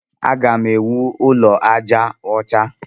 Agam ewu ụlọ aja ọcha.